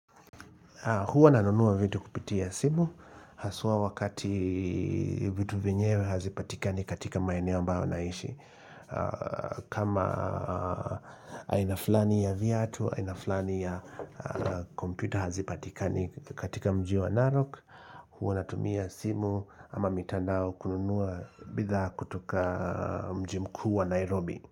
Huwa nanunua vitu kupitia simu, haswa wakati vitu vyenyewe hazipatikani katika maeneo ambayo naishi. Kama aina fulani ya viatu, aina fulani ya kompyuta hazipatika katika mji wa Narok. Huwa natumia simu ama mitandao kununua bidhaa katika mji mkuu wa Nairobi.